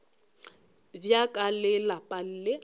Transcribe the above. bja ka le lapa le